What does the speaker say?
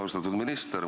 Austatud minister!